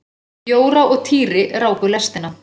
Jóra og Týri ráku lestina.